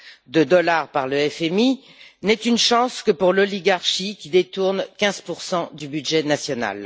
de dollars par le FMI, n'est une chance que pour l'oligarchie, qui détourne 15 du budget national.